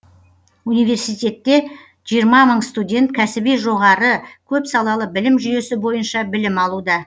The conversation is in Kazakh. университетте жиырма мың студент кәсіби жоғары көпсалалы білім жүйесі бойынша білім алуда